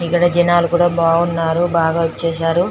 ఇక్కడ జనాలు కూడా బావున్నారు బాగా వచ్చేసారు .